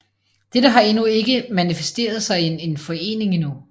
Dette har endnu ikke manifesteret sig i en forening endnu